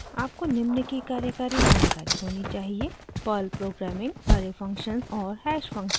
आपको निम्न की कार्यकारी जानकारी होनी चाहिए: